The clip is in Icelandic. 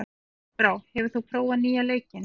Járnbrá, hefur þú prófað nýja leikinn?